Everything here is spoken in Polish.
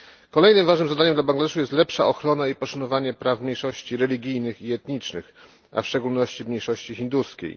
Kolejnym ważnym zadaniem dla Bangladeszu jest lepsza ochrona i poszanowanie praw mniejszości religijnych i etnicznych, a w szczególności mniejszości hinduskiej.